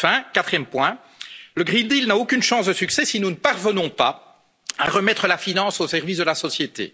Enfin, quatrième point le pacte vert n'a aucune chance de succès si nous ne parvenons pas à remettre la finance au service de la société.